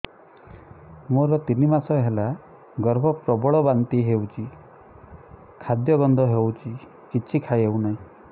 ମୋର ତିନି ମାସ ହେଲା ଗର୍ଭ ପ୍ରବଳ ବାନ୍ତି ହଉଚି ଖାଦ୍ୟ ଗନ୍ଧ ହଉଚି କିଛି ଖାଇ ହଉନାହିଁ